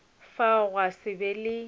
fao gwa se be le